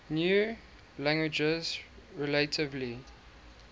new languages relatively